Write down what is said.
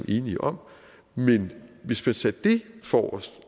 enige om men hvis man satte det forrest